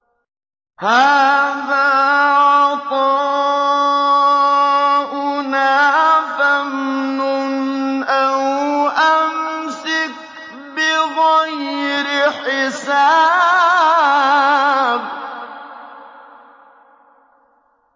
هَٰذَا عَطَاؤُنَا فَامْنُنْ أَوْ أَمْسِكْ بِغَيْرِ حِسَابٍ